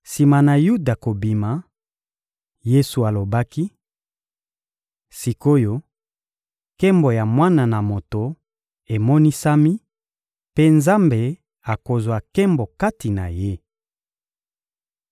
Sima na Yuda kobima Yesu alobaki wj Sik oyo nkembo ya Mwana na Moto emonisami mpe Nzambe akozwa nkembo kati na Ye wj